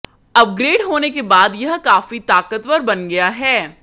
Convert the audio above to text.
upgrade होने के बाद यह काफी ताकतवर बन गया है